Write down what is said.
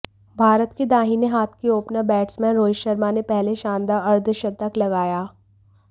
भारत के दाहिने हाथ के ओपनर बैट्समेन रोहित शर्मा ने पहले शानदार अर्द्धशतक लगाया